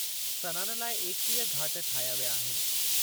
सनानु लाइ एकवीह घाट ठाहिया विया आहिनि।